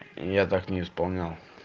и я так не исполнял